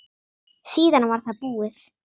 Síðan var það búið.